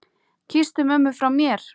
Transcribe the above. Kysstu mömmu frá mér.